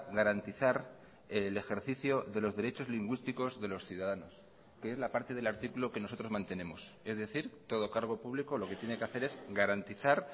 garantizar el ejercicio de los derechos lingüísticos de los ciudadanos que es la parte del artículo que nosotros mantenemos es decir todo cargo público lo que tiene que hacer es garantizar